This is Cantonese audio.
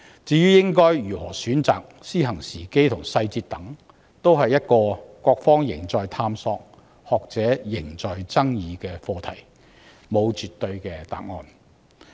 至於應該如何選擇，以及實施時間與細節為何，均是各方仍在探索、學者仍在爭議的課題，沒有絕對的答案。